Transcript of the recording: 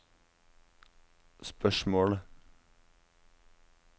spørsmålet